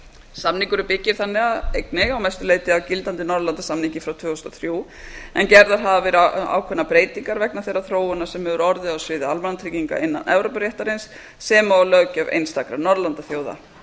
samningurinn byggir þannig einnig að mestu leyti á gildandi norðurlandasamningi frá tvö þúsund og þrjú en gerðar hafa verið ákveðnar breytingar vegna þeirrar þróunar sem hefur orðið á sviði almannatrygginga innan evrópuréttarins sem og löggjöf einstakra norðurlandaþjóða